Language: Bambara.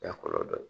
kɔlɔlɔ dɔ ye